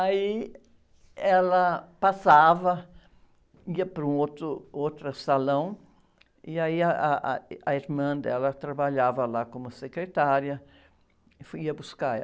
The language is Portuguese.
Aí ela passava, ia para um outro, outro salão e aí ah, ah, a irmã dela trabalhava lá como secretária e ia buscar ela.